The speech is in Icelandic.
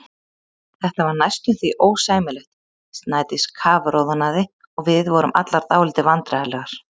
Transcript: Þetta var næstum því ósæmilegt, Snædís kafroðnaði og við vorum allar dálítið vandræðalegar.